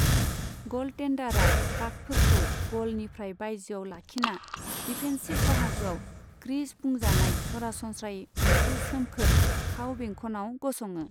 गलटेन्डारा पाकफोरखौ गलनिफ्राय बायजोआव लाखिना, डिफेन्सिभ बाहागोआव क्रीज बुंजानाय सरासनस्रायै मोनसे सोमखोर, खाव बेंखनाव गसङो।